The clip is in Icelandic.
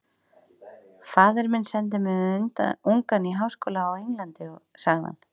Faðir minn sendi mig ungan í háskóla á Englandi sagði hann.